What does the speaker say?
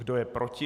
Kdo je proti?